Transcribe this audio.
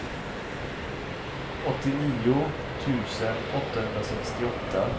åttionio tusen åttahundrasextioåtta